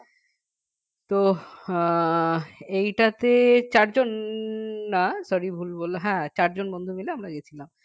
তো আহ এইটাতে চারজন না sorry ভুল বললাম হ্যাঁ চারজন বন্ধু মিলে গেছিলাম